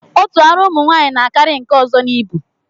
Otu ara ụmụnwaanyị na-akarị nke ọzọ n'ibu